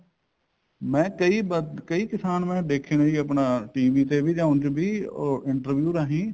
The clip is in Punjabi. ਮੈਂ ਕਈ ਮੈਂ ਕਈ ਕਿਸਾਨ ਮੈਂ ਦੇਖੇ ਨੇ ਆਪਣਾ TV ਤੇ ਜਾਂ ਉਂਝ ਵੀ ਉਹ interview ਰਾਹੀਂ